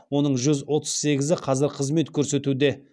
оның жүз отыз сегізі қазір қызмет көрсетуде